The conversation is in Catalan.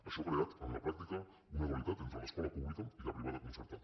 això ha creat en la pràctica una dualitat entre l’escola pública i la privada concertada